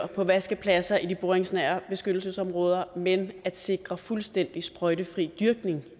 på vaskepladser i de boringsnære beskyttelsesområder men at sikre fuldstændig sprøjtefri dyrkning